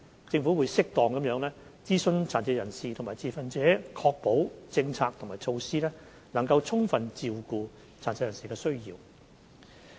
政府會適當地諮詢殘疾人士和持份者，以確保政策和措施能充分照顧殘疾人士的需要。